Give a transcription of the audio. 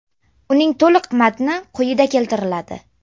Uning to‘liq matni quyida keltiriladi.